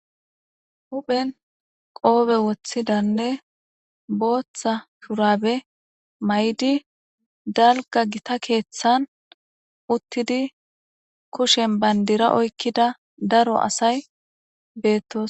Huphen qoobe woththidanne booththa shurabe may7di dalga gita keeththan uttidi kushen bandira oykkida daro asay bettos.